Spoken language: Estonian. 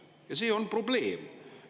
Ja see on probleem.